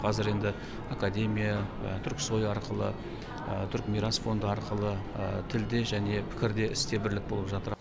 қазір енді академия турксой арқылы турк мирас фонды арқылы тілде және пікірде істе бірлік болып жатыр